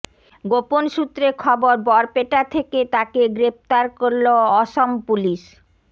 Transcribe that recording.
গোপন সূত্রে খবর বরপেটা থেকে তাকে গ্রেফতার করল অসম পুলিশ